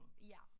Ja